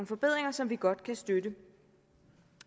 forbedringer som vi godt kan støtte